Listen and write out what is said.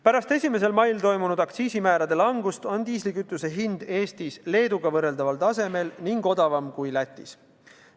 Pärast 1. mail toimunud aktsiisimäärade langust on diislikütuse hind Eestis Leeduga võrreldaval tasemel ning odavam kui Lätis.